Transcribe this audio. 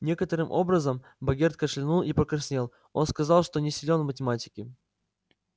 некоторым образом богерт кашлянул и покраснел он сказал что не силен в математике